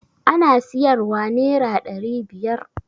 Ana siyar wa nera ɗari biyar